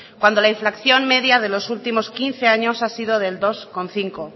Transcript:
cuando la inflación media de los últimos quince años ha sido del dos coma cinco